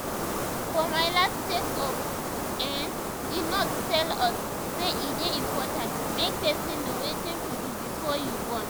for my last check up[um]the nurse tell us say e dey important make person know wetin to do before you born